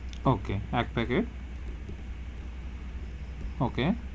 Okay এক packet okay,